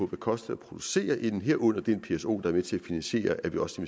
det koster at producere den el herunder de pso er med til at finansiere at vi også